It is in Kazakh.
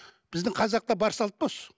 біздің қазақта бар салт па осы